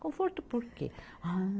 Conforto por quê? Ah